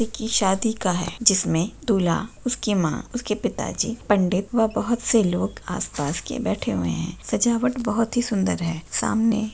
की शादी का है। जिसमें दूला उसकी मां उसके पिताजी पंडित वह बहुत से लोग आसपास के बैठे हुए है। सजावट बहुत ही सुंदर है। सामने--